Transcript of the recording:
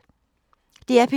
DR P3